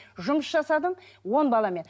жұмыс жасадым он баламен